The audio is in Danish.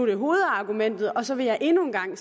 er hovedargumentet og så vil jeg endnu en gang